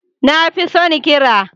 Na fi son ƙira.